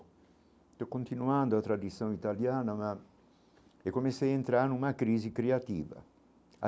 Estou continuando a tradição italiana, mas... e comecei a entrar numa crise criativa.